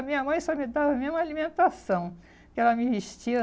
A minha mãe só me dava mesmo alimentação, que ela me vestia.